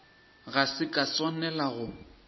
ga se ka swanela go